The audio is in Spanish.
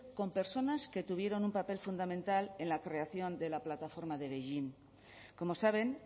con personas que tuvieron un papel fundamental en la creación de la plataforma de beijing como saben